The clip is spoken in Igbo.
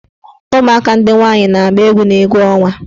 Ụmụaka ndị nwaanyị na-agba egwu n' egwu ọnwa.